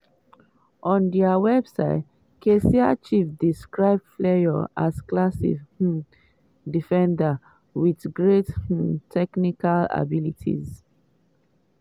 on dia website kaiser chiefs describe fleurs as "classy um defender" wit "great um technical abilities".